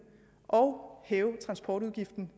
og hæve transportudgiften